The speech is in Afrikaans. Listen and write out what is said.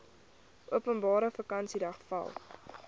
openbare vakansiedag val